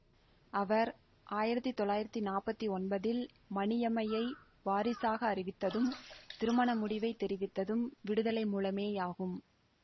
அவர் ஆயிரத்தி தொள்ளாயிரத்தி நாப்பத்தி ஒன்பதில் மணியம்மையை வாரிசாக அறிவித்ததும் திருமண முடிவை தெரிவித்ததும் விடுதலை மூலமேயாகும்